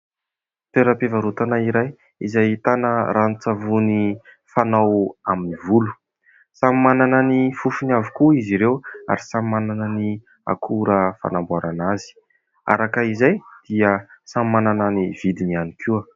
toeram-pivarotana iray izay ahitana ranon-tsavony fanao amin'ny volo samy manana ny fofony avokoa izy ireo ary samy manana ny akora fanamboarana azy araka izay dia samy manana ny vidiny ihany koa